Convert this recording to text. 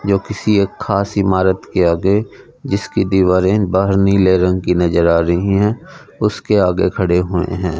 जो किसी एक खास इमारत के आगे जिसकी दीवारें बाहर नीले रंग की नजर आ रही हैं उसके आगे खड़े हुए हैं।